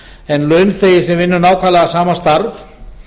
en launþegi sem vinnur nákvæmlega sama starf